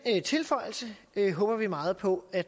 tilføjelse håber vi meget på at